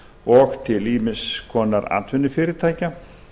og til ýmiss konar atvinnufyrirtækja